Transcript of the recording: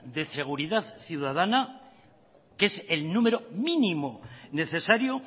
de seguridad ciudadana que es el número mínimo necesario